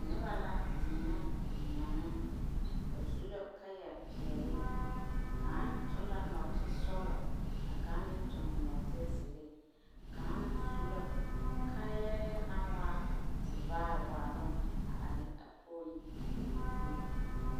Noba la deɛnɛ deɛme. Ba su la kaayapeɛle. Kaŋ toŋ la nɔɔtesɔglɔ, ka kaŋ meŋ toŋ nɔɔtezeere. Kaŋ su la kaayarɛɛ naŋ waa tevaar waaloŋ, a are a pooli zie.